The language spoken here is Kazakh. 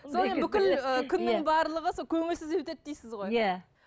күннің барлығы сол көңілсіз өтеді дейсіз ғой иә